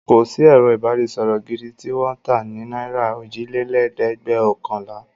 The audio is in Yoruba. Kò sí ẹ̀rọ-ìbanisọ̀rọ̀ gidi tí wọ́n ń tà ní náírà ójìlélẹ́ẹ̀dẹ́gbẹ́ọ̀kànlá.